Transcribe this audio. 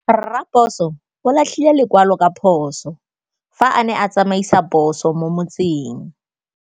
Raposo o latlhie lekwalô ka phosô fa a ne a tsamaisa poso mo motseng.